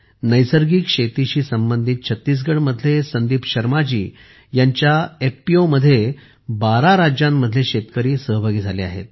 नैसर्गिक शेतीशी संबंधित छत्तीसगडमधले संदीप शर्माजी यांच्या एफपीओ मध्ये 12 राज्यांमधले शेतकरी सहभागी झाले आहेत